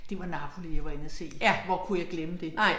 Det var Napoli jeg var inde at se hvor kunne jeg glemme det